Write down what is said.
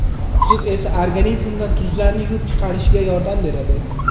Suv esa organizmdan tuzlarni yuvib chiqarishga yordam beradi.